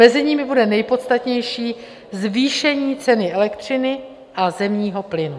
Mezi nimi bude nejpodstatnější zvýšení ceny elektřiny a zemního plynu.